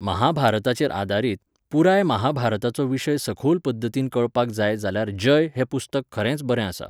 महाभारताचेर आदारीत, पुराय महाभारताचो विशय सखोल पद्दतीन कळपाक जाय जाल्यार 'जय' हें पुस्तक खरेंच बरें आसा.